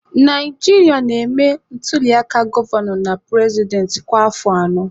Naijiria na-eme ntuliaka gọvanọ na purezidentị kwa afọ anọ.